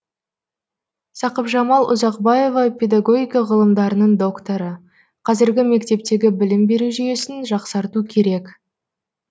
сақыпжамал ұзақбаева педагогика ғылымдарының докторы қазіргі мектептегі білім беру жүйесін жақсарту керек